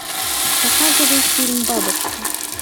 показывай фильм бабочка